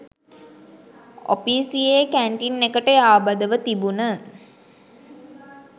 ඔපීසියෙ canteen එකට යාබදව තිබුන